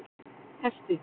Hesti